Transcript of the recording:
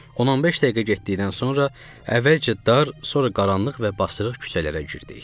15 dəqiqə getdikdən sonra əvvəlcə dar, sonra qaranlıq və basırıq küçələrə girdik.